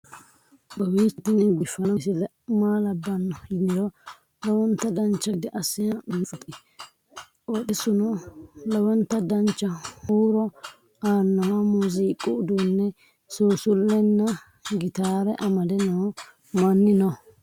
kowiicho tini biiffanno misile maa labbanno yiniro lowonta dancha gede assine haa'noonni foototi qoxeessuno lowonta danachaho. huuro aannoha muziiqu uduunne suusullenna gitaare amade noo manni no